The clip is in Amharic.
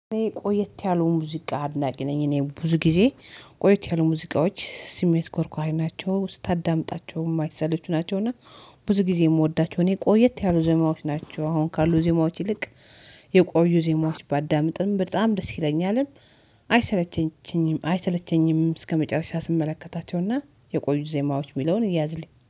ቆይት ያሉ ሙዚቃ አድናቂ ነኝ እኔ ብዙ ጊዜ ቆይት ያሉ ሙዚቃዎች ስሜት ኮርኳይ ናቸው ስታዳምጣቸው የማይሰለቹ ናቸው። እና ብዙ ጊዜ የምወዳቸው እኔ ቆየት ያሉ ዜማዎች ናቸው። አሁን ካሉ ዜማዎች ይልቅ የቆዩ ዜማዎች ባዳምጥም በጣም ደስ ይለኛልም። አይሰለቸኝም አይሰለቸኝም እስከመጨረሻ ስመለከታቸው እና የቆዩ ዜማዎች የሚለውን ይያዝልኝ